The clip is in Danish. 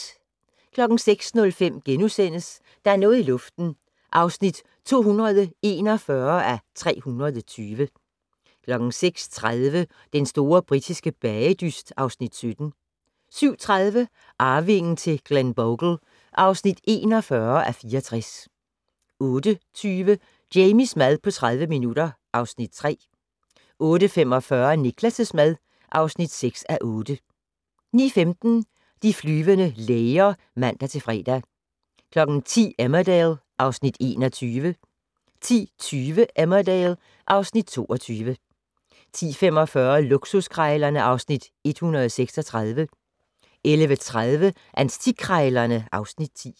06:05: Der er noget i luften (241:320)* 06:30: Den store britiske bagedyst (Afs. 17) 07:30: Arvingen til Glenbogle (41:64) 08:20: Jamies mad på 30 minutter (Afs. 3) 08:45: Niklas' mad (6:8) 09:15: De flyvende læger (man-fre) 10:00: Emmerdale (Afs. 21) 10:20: Emmerdale (Afs. 22) 10:45: Luksuskrejlerne (Afs. 136) 11:30: Antikkrejlerne (Afs. 10)